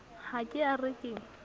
ha ke a re ke